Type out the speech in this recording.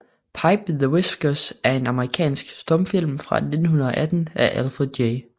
Pipe the Whiskers er en amerikansk stumfilm fra 1918 af Alfred J